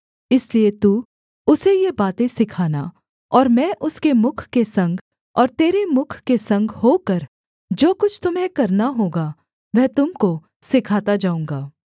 इसलिए तू उसे ये बातें सिखाना और मैं उसके मुख के संग और तेरे मुख के संग होकर जो कुछ तुम्हें करना होगा वह तुम को सिखाता जाऊँगा